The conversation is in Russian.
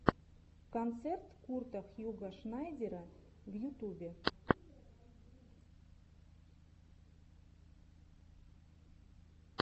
концерт курта хьюго шнайдера в ютубе